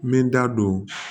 N bɛ da don